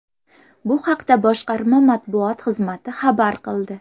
Bu haqda boshqarma matbuot xizmati xabar qildi .